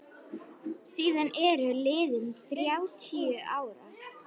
Síðan eru liðin þrjátíu ár.